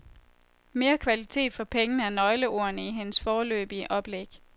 Mere kvalitet for pengene er nøgleordene i hendes foreløbige oplæg.